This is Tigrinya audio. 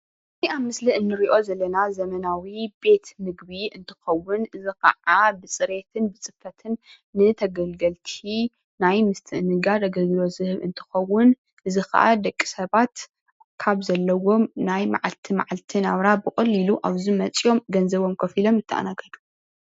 እዚ አብ ምስሊ እንሪኦ ዘለና ዘመናዊ ቤት ምግቢ እንትከውን፣ እዚ ከዓ ብፅሬት ብፅፈትን ንተገልገልቲ ናይ ምስትእናጋድ አገልግሎት ዝህብ እንትኸዉን እዚ ከዓ ደቂ ስባት ካብ ዘለዎም ናይ መዓልቲ መዓልቲ ናብራ ብቀሊሉ አብዚ መፃዮም ገንዘቦም ከፊሎም ይተአናገዱ፡፡